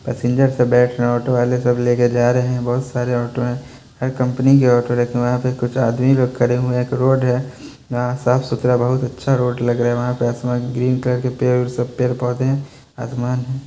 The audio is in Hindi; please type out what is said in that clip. पेसेंजर सब बैठ रे हैं ऑटो वाले सब लेके जा रहे हैं बोहत सारे ऑटो हैं हर कम्पनी के ऑटो रखे हुए हैं वहाँ पे कुछ आदमी लोग खड़े हुए हैं एक रोड है ना साफ़ सुथरा बहुत अच्छा रोड लग रहा है वहाँ पे आसमान ग्रीन कलर के पेड़ और सब पेड़-पौधे हैं आसमान है।